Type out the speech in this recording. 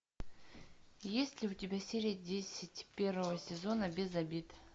есть ли у тебя серия десять первого сезона без обид